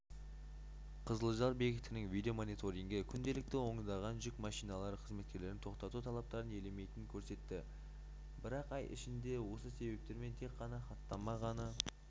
қызылжар бекетінің видео-мониторингі күнделікті ондаған жүк машиналары қызметкерлердің тоқтату талаптарын елемейтінін көрсетті бірақ ай ішінде осы себептермен тек қана хаттама ғана